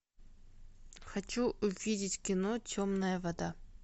хочу увидеть кино темная вода